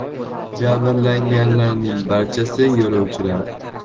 Jabrlanganlarning barchasi yo‘lovchilar.